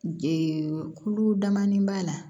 kulu damani b'a la